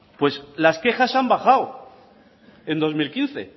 pues las quejas han bajado en dos mil quince